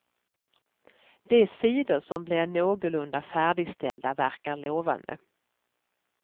De sidor som blev någorlunda färdigställda verkar lovande.